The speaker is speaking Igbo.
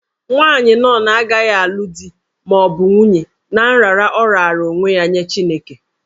Nwaanyị nọn agaghị alụ di ma ọ bụ nwunye ná nrara ọ raara onwe ya nye Chineke.